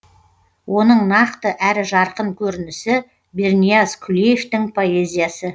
оның нақты әрі жарқын көрінісі бернияз күлеевтың поэзиясы